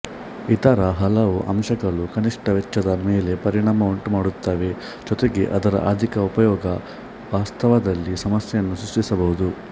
ಇತರ ಹಲವು ಅಂಶಗಳು ಕನಿಷ್ಠ ವೆಚ್ಚದ ಮೇಲೆ ಪರಿಣಾಮ ಉಂಟುಮಾಡುತ್ತವೆ ಜೊತೆಗೆ ಅದರ ಅಧಿಕ ಉಪಯೋಗ ವಾಸ್ತವದಲ್ಲಿ ಸಮಸ್ಯೆಯನ್ನು ಸೃಷ್ಟಿಸಬಹುದು